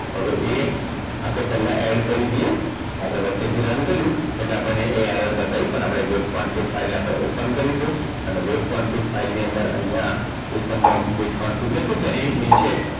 હવે એ આપણે પહેલા add કરી દઈએ અને આપણે વચ્ચે જે run કર્યું એટલે આપણને એ error બતાવ્યું પણ આપણે web quantik file ને open કરીશું અને web quantik file ની અંદર અહીંયા customdog web quantik લખ્યું છે એની નીચે